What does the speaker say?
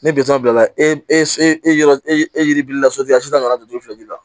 Ni bila la e e e e yiribirila sotigiya suta nana don fila de la